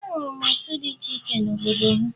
Ahụrụ m otu dị iche iche n'obodo ya